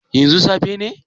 Yanzu safe ne?